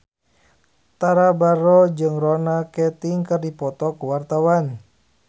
Tara Basro jeung Ronan Keating keur dipoto ku wartawan